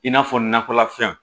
I n'a fɔ nakɔlafɛnw